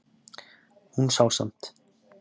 Hún sá samt